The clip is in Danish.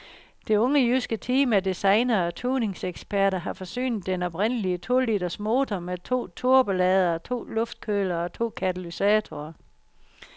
Det unge jyske team af designere og tuningseksperter har forsynet den oprindelige to-liters motor med to turboladere, to luftkølere og to katalysatorer.